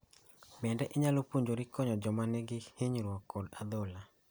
Bende inyalo puonjori konyo jo manigi hinyruok kod adhola.